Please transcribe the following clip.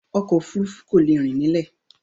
Ọkọ̀ òfurufú kò lè rìn nílẹ̀.